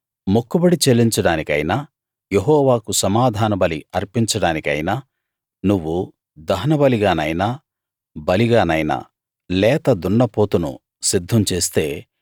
మొక్కుబడి చెల్లించడానికైనా యెహోవాకు సమాధానబలి అర్పించడానికైనా నువ్వు దహనబలిగానైనా బలిగానైనా లేత దున్నపోతును సిద్ధం చేస్తే